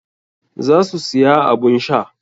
Za su siya abun sha.